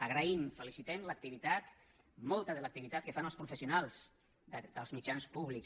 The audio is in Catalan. agraïm felicitem l’activitat molta de l’activitat que fan els professionals dels mitjans públics